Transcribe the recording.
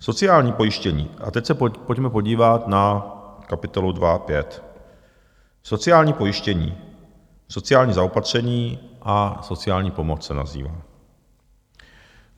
Sociální pojištění - a teď se pojďme podívat na kapitolu 2.5, Sociální pojištění, sociální zaopatření a sociální pomoc se nazývá.